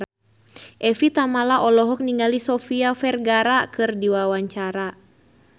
Evie Tamala olohok ningali Sofia Vergara keur diwawancara